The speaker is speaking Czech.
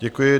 Děkuji.